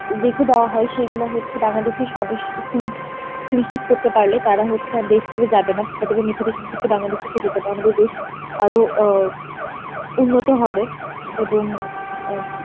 রেখে দেয়া হয় সেগুলো হচ্ছে বাংলাদেশের নিশ্চিত করতে পারলে তারা হচ্ছে আর দেশ ছেড়ে যাবে না বাংলাদেশে থেকে যাবে, আমাদের দেশ আরো আ উন্নত হবে এবং অ্যাঁ